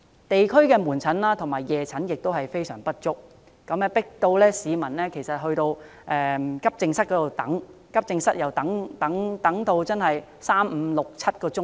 地區的門診和夜診名額不足，迫使市民到急症室求診，但急診服務輪候時間長達三、五、七個小時。